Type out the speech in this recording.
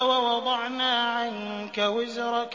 وَوَضَعْنَا عَنكَ وِزْرَكَ